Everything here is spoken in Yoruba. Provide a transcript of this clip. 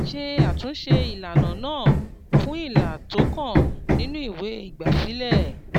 ṣé àtúnṣe ìlànà náà fún ilà tó kàn nínú ìwé ìgbàsílẹ̀.